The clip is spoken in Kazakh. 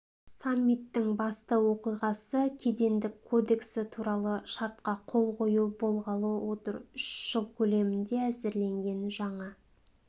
саммиттің басты оқиғасы кедендік кодексі туралы шартқа қол қою болғалы отыр үш жыл көлемінде әзірленген жаңа